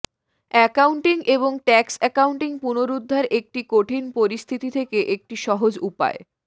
accounting এবং tax accounting পুনরুদ্ধার একটি কঠিন পরিস্থিতি থেকে একটি সহজ উপায়